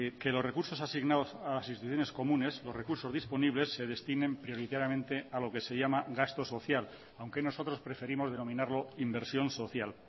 que los recursos asignados a las instituciones comunes los recursos disponibles se destinen prioritariamente a lo que se llama gasto social aunque nosotros preferimos denominarlo inversión social